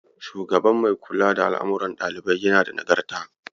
Shugaban mai kula da al'amarun ɗaliban yana da Nagarta.